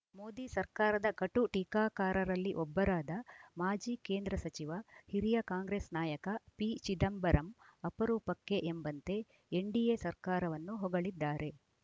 ಮೋದಿ ಸರ್ಕಾರದ ಕಟು ಟೀಕಾಕಾರರಲ್ಲಿ ಒಬ್ಬರಾದ ಮಾಜಿ ಕೇಂದ್ರ ಸಚಿವ ಹಿರಿಯ ಕಾಂಗ್ರೆಸ್‌ ನಾಯಕ ಪಿಚಿದಂಬರಂ ಅಪರೂಪಕ್ಕೆ ಎಂಬಂತೆ ಎನ್‌ಡಿಎ ಸರ್ಕಾರವನ್ನು ಹೊಗಳಿದ್ದಾರೆ